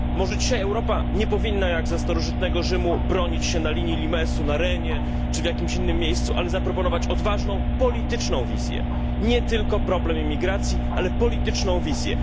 Może dzisiaj Europa nie powinna, jak za starożytnego Rzymu, bronić się na linii limesu, na Renie czy w jakiś innym miejscu, ale zaproponować odważną, polityczną wizję. Nie tylko problem imigracji, ale polityczną wizję.